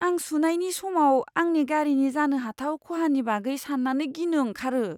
आं सुनायनि समाव आंनि गारिनि जानो हाथाव खहानि बागै सान्नानै गिनो ओंखारो।